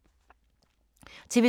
TV 2